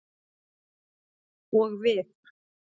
Og við.